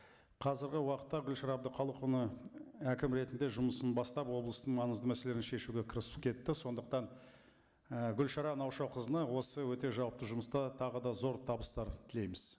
қазіргі уақытта гүлшара әбдіқалықовна әкім ретінде жұмысын бастап облыстың маңызды мәселелерін шешуге кірісіп кетті сондықтан і гүлшара наушақызына осы өте жауапты жұмыста тағы да зор табыстар тілейміз